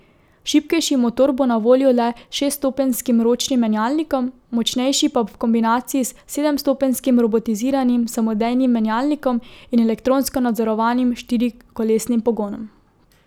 Šibkejši motor bo na voljo le s šeststopenjskim ročnim menjalnikom, močnejši pa v kombinaciji s sedemstopenjskim robotiziranim samodejnim menjalnikom in elektronsko nadzorovanim štirikolesnim pogonom.